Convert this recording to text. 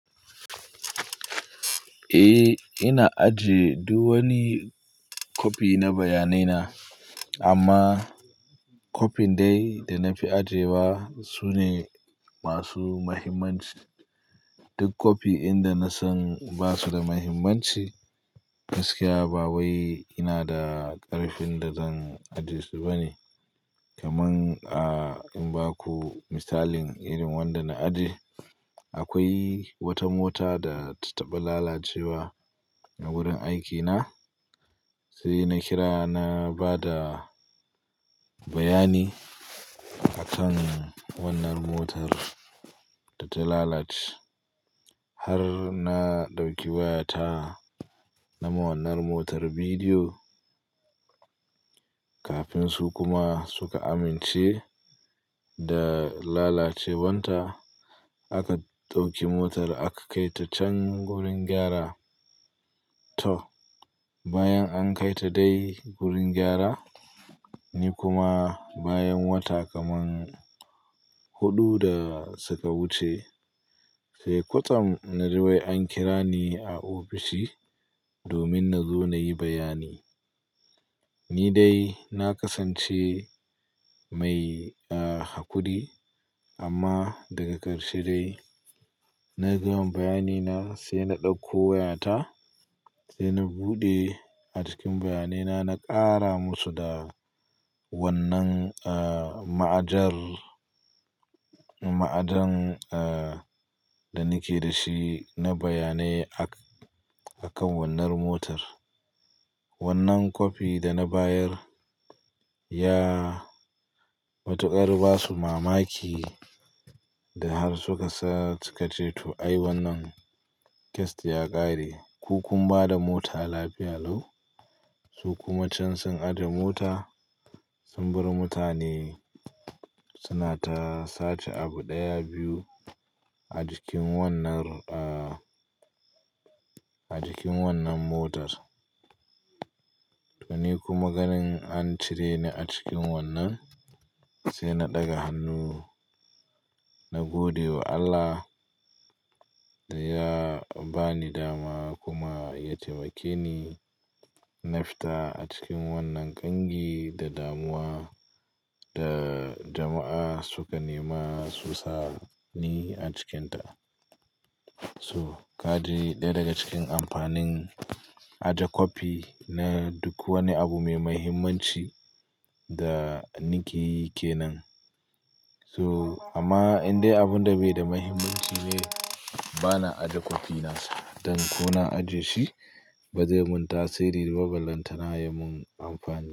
Eh, ina ajiye duk wani copy na bayanai na. Amma copy din dai da na fi ajiye ba su ne masu muhimmanci. Duk copy inda na san ba su da muhimmanci. Gaskiya babai ina da ƙarfin da zan ajiye su bane. Kaman in baku misalin irin wanda na ajiye. Akwai wata mota da ta taɓa lalacewa a wurin aikina. Sai na kira na ba da bayani akan wanar motar data lalace, har na dauki wayata nama wanar motar bidiyo kafin su kuma suka amince da lalacewan ta. Aka ɗauki motar aka kai ta can gurin gyara. To, bayan an kaita dai gurin gyra, ni kuma bayan wata hudu da suka wuce sai kwatsam naji wai an kira ni a ofishi domin nazo nayi bayyani. Ni dai na kasance mai hakuri amma daga ƙarshe dai na gama bayanina sai na ɗauko wayata sai na buɗe a cikin bayanai na, na ƙara musu da wannan ma'ajar, ma'ajan da nike da shi na bayanai akan wannan motar. Wannan copy da na bayar ya matuƙar ba su mamaki da har suka ce to "Ai wannan case ya ƙare. Ku kun ba da mota lafiya lau." Su kuma can sun aje mota, sun bar mutane suna ta sace abu ɗaya, biyu a jikin wannan, a jikin wannan motar. To ni kuma ganin an cire ni a cikin wannan sai na ɗaga hannu, na gode wa Allah da ya ba ni dama kuma ya taimake ni na fita a cikin wannan ƙangi da damuwa da jama'a suka nema susa ni a cikinta. So kaji ɗaya daga cikin amfanin ajiye copy na duk wani abu mai mahimmanci da nike yike nan. So amma in dai abun da bai da mahimmanci ne, ba na ajiye copy nasa. Dan ko na ajiye shi ba zai mun tasiri ba, ba lantana ya mun amfani.